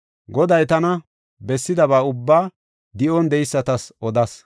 Goday tana bessidaba ubbaa di7on de7eysatas odas.